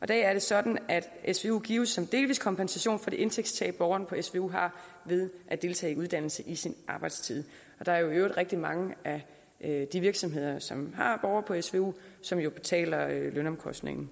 dag er det sådan at svu gives som delvis kompensation for det indtægtstab borgeren på svu har ved at deltage i uddannelse i sin arbejdstid der er i øvrigt rigtig mange af de virksomheder som har borgere på svu som jo betaler lønomkostninger